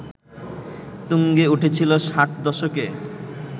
তুঙ্গে উঠেছিল ষাট দশকে